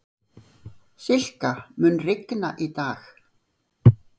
Silka, mun rigna í dag?